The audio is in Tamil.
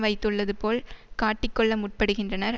வைத்துள்ளது போல் காட்டிக் கொள்ள முற்படுகின்றனர்